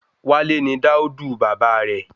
Wale ni dáódù bàbá rẹ